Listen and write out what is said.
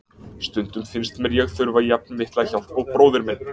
Stundum finnst mér ég þurfa jafn mikla hjálp og bróðir minn.